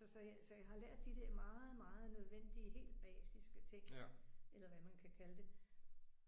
Så så jeg så jeg har lært de der meget meget nødvendige helt basiske ting. Eller hvad man kan kalde det.